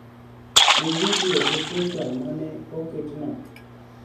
Ni vidio gi picha ma ne oket no